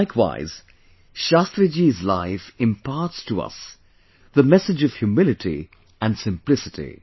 Likewise, Shastriji's life imparts to us the message of humility and simplicity